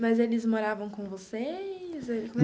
Mas eles moravam com vocês?